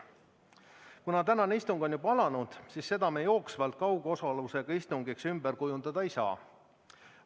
Kuna tänane istung on juba alanud, siis seda me jooksvalt kaugosalusega istungiks ümber kujundada ei saa.